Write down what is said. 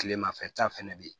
Kilemafɛta fɛnɛ be yen